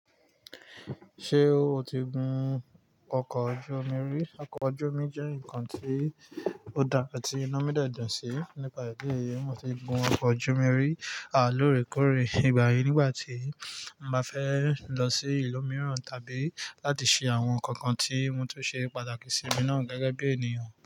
Ṣé o ti gun ọkọ̀ ojú omi rí? Ọkọ̀ ojú omi jẹ́ ǹkan ti odá tí inu mi dẹ́ dún sí. Nípa idi èyí, mo ti gun ọkọ̀ ojú omi rí a lóòrèkóòrè ìgbà yìí nígbà tí mo bá fẹ́ lọ sí ìlú mìíràn tàbí láti ṣe àwọn ǹkan kan tí mo tó ṣe pàtàkì sí mi náà gẹ́gẹ́ bí ènìyàn.